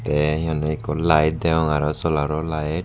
te he honney ekko light degong aaro solaro light.